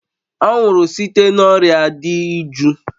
Ọ nwụrụ site n'orịa dị iju.